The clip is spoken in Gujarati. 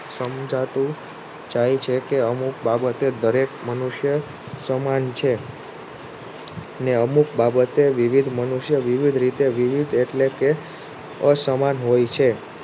સમજાતું જાય છે કે અમુક બાબતે દરેક મનુષ્ય સમાન છે ને અમુક બાબતે વિવિધ મનુષ્ય વિવિધ રીતે વિવિધ એટલે કે અસમાન હોય છે.